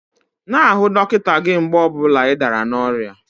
N'ahụ dọkịta gị mgbe ọ bụla ị dara n'oria5